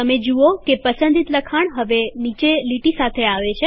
તમે જુઓ કે પસંદિત લખાણ હવે નીચે લીટી સાથે છે